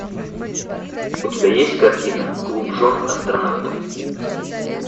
у тебя есть картина клуб жен астронавтов